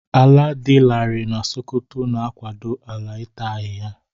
Ala dị larịị na Sokoto na-akwado ala ịta ahịhịa.